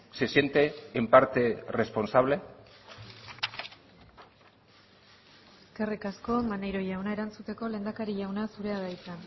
se siente en parte responsable eskerrik asko maneiro jauna erantzuteko lehendakari jauna zurea da hitza